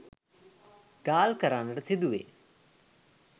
ගාල් කරන්නට සිදුවේ